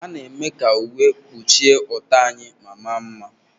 A na-eme ka uwe kpuchie ọtọ anyị ma maa mma.